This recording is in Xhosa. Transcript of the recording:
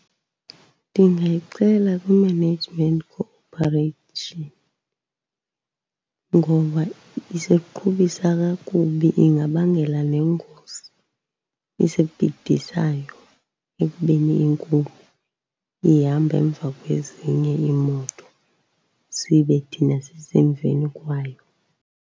Ndingayixela kwi-Management Corporation ngoba isiqhubisa kakubi. Ingabangela neengozi ezibhidisayo ekubeni inkulu ihamba emva kwezinye iimoto, sibe thina sisemveni kwayo.